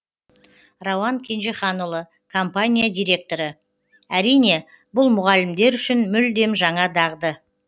рауан кенжеханұлы компания директоры әрине бұл мұғалімдер үшін мүлдем жаңа дағды